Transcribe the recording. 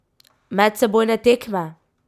Medsebojne tekme?